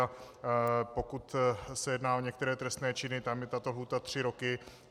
A pokud se jedná o některé trestné činy, tam je tato lhůta tři roky.